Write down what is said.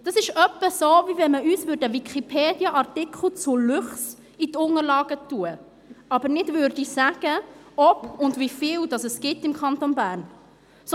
Das ist etwa so, als würde man uns einen Wikipedia-Artikel zu Luchsen in die Unterlagen legen, aber ohne zu sagen, ob und wie viele es im Kanton Bern gibt.